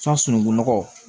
sununkunɔgɔ